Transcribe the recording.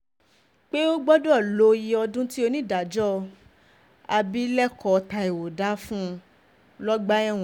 pé o gbọ́dọ̀ lo iye iye ọdún tí onídàájọ́ abilékọ taiwo dá fún un lọ́gbà ẹ̀wọ̀n